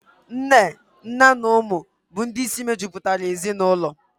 Nne, nna na ụmụ bụ ndị isi mejupụtara ezinaụlọ.